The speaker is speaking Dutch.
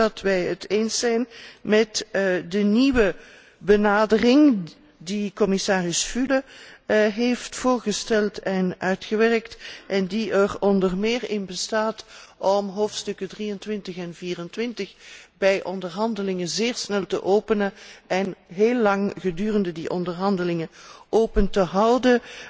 Ook zijn we het eens met de nieuwe benadering die commissaris Füle heeft voorgesteld en uitgewerkt en die er onder meer in bestaat om hoofdstukken 23 en 24 bij onderhandelingen zeer snel te openen en heel lang gedurende die onderhandelingen open te houden.